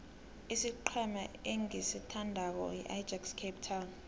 isiqhema engisithandako yiajax cape town